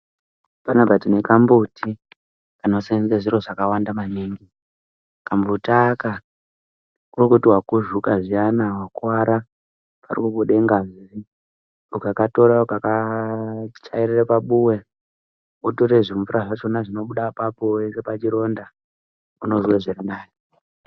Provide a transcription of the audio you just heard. Panapa tine kambuti kanoseenzeswa zviro zvakawanda maningi. Kambuti aka kuri kuti wakuzvuka zviyani, akuwara, parikubuda ngazi ukakatora ukakachairire pabuwe, wotore zvimvura zvinobuda apapo oise pazvironda, unozwe zvirinani.